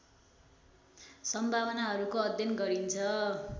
सम्भावनाहरूको अध्ययन गरिन्छ।